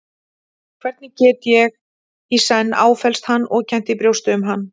Hvernig get ég í senn áfellst hann og kennt í brjósti um hann?